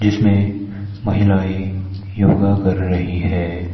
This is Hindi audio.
इसमें महिलाएं योगा कर रही है।